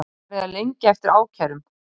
Farið að lengja eftir ákærum